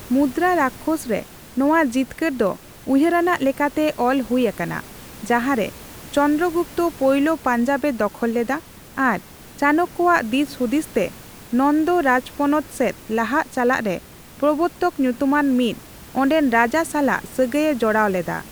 ᱢᱩᱫᱨᱟᱨᱟᱠᱷᱚᱥ ᱨᱮ ᱱᱚᱣᱟ ᱡᱤᱛᱠᱟᱹᱨ ᱫᱚ ᱩᱭᱦᱟᱹᱨᱟᱱᱟᱜ ᱞᱮᱠᱟᱛᱮ ᱚᱞ ᱦᱩᱭ ᱟᱠᱟᱱᱟ, ᱡᱟᱦᱟᱨᱮ ᱪᱚᱱᱫᱨᱚᱜᱩᱯᱛᱚ ᱯᱳᱭᱞᱳ ᱯᱟᱧᱡᱟᱵᱽ ᱮ ᱫᱚᱠᱷᱚᱞ ᱞᱮᱫᱟ ᱟᱨ ᱪᱟᱱᱚᱠᱠᱚᱭᱟᱜ ᱫᱤᱥᱦᱩᱫᱤᱥ ᱛᱮ ᱱᱚᱱᱫᱚ ᱨᱟᱡᱯᱚᱱᱚᱛ ᱥᱮᱫ ᱞᱟᱦᱟᱜ ᱞᱟᱦᱟᱨᱮ ᱯᱚᱵᱨᱚᱛᱚᱠ ᱧᱩᱛᱩᱢᱟᱱ ᱢᱤᱫ ᱚᱰᱮᱱ ᱨᱟᱡᱟ ᱥᱟᱞᱟᱜ ᱥᱟᱹᱜᱟᱭ ᱮ ᱡᱚᱲᱟᱣ ᱞᱮᱫᱟ ᱾